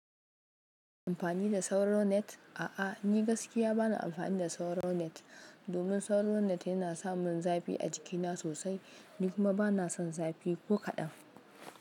Amfani da sauro net. A'a, ni gaskiya bana amfani da sauro net. Domin sauro net yana samin zafi a jikina sosai. Ni kuma bana son zafi ko kaɗan.